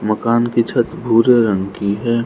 मकान की छत भूरे रंग की है।